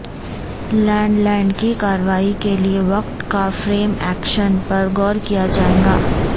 land land کی کارروائی کے لئے وقت کا فریم ایکشن پر غور کیا جائے گا